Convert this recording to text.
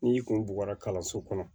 N'i kun bugɔra kalanso kɔnɔ